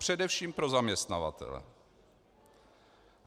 Především pro zaměstnavatele.